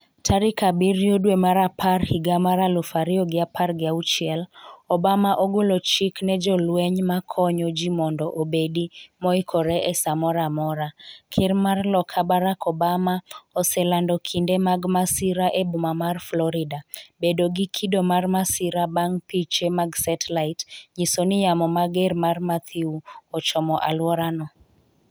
tarik abiriyo dwe mar apar higa mar aluf ariyo gi apar gi auchiel. Obama ogolo chik ne jolweny ma konyo ji mondo obedi moikore e sa moro amora .Ker mar loka Barrack Obama oselando kinde mag masira e boma mar Florida bedo gi kido mar masira bang' piche mag setlait nyiso ni yamo mager mar Matthew ochomo aluora no.